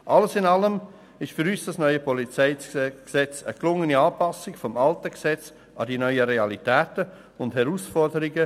Alles in allem ist für uns das neue PolG eine gelungene Anpassung des alten Gesetzes an die neuen Realitäten und Herausforderungen.